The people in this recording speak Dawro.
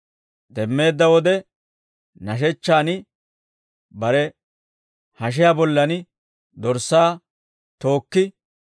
Demmeedda wode nashechchaan bare hashiyaa bollan dorssaa tookki,